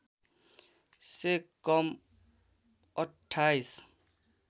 से कम अठ्ठाइस